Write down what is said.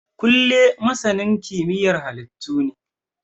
Kunle masanin kimiyyar halittu ne